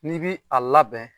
N'i bi a labɛn